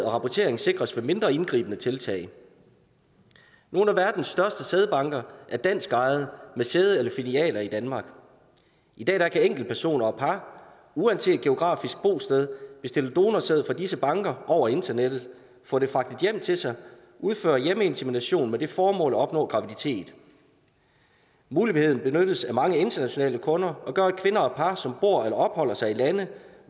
rapportering sikres ved mindre indgribende tiltag nogle af verdens største sædbanker er danskejede med sæde eller filialer i danmark i dag kan enkeltpersoner og par uanset geografisk bosted bestille donorsæd fra disse banker over internettet få det fragtet hjem til sig og udføre hjemmeinsemination med det formål at opnå graviditet muligheden benyttes af mange internationale kunder og gør at kvinder og par som bor eller opholder sig i lande